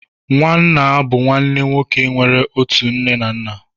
Nwanna bụ nwanne nwoke nwere otu nne na nna